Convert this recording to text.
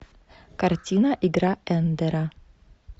картина игра эндера